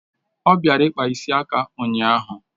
O bịara kpaa ịsị aka ụnyaahụ